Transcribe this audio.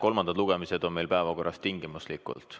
Kolmandad lugemised on meil päevakorras tingimuslikult.